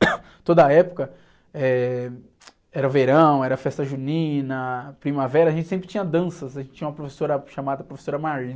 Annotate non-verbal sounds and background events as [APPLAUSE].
[COUGHS] toda época, eh, era verão, era festa junina, primavera, a gente sempre tinha danças, a gente tinha uma professora chamada professora, [UNINTELLIGIBLE]